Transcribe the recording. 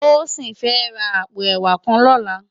Tosin fè rá àpó èwá kàn lòlá